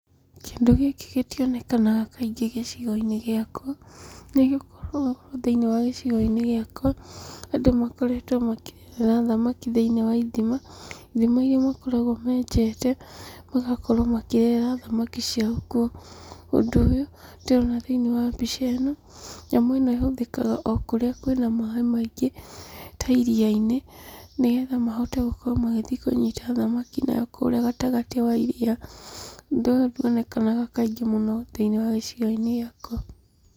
Kĩndũ gĩkĩ gĩtionekaga mũno kaingĩ gĩcigo-inĩ gĩakwa, nĩgũkorwo thĩinĩ wa gĩcigo-inĩ gĩakwa, andũ makoretwo makĩrerera thamaki thĩinĩ wa ithima, ithima iria makoragwo menjete, magakorwo makĩrerera thamaki ciao kuo. Ũndũ ũyũ ndĩrona thĩnĩ wa mbica ĩno, nyamũ ĩno ĩhũthĩkaga okũrĩa kwĩna maaĩ maingĩ ta iria-inĩ, nĩgetha mahote gũkorwo magĩthiĩ kũnyita thamaki nayo nakũrĩa gatagatĩ wa irira. Ũndũ ũyũ ndwonekaga mũno thĩinĩ wa gĩcigo gĩakwa.